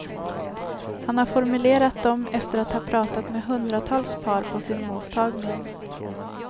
Han har formulerat dem efter att ha pratat med hundratals par på sin mottagning.